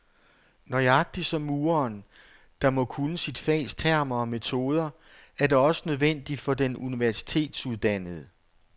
Nøjagtig som mureren, der må kunne sit fags termer og metoder, er det også nødvendigt for den universitetsuddannede.